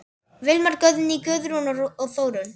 Vilmar, Guðný, Guðrún og Þórunn.